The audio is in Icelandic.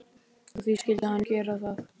Og því skyldi hann gera það.